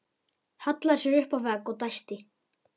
Hallaði sér upp að vegg og dæsti.